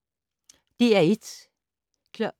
DR1